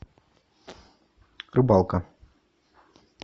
рыбалка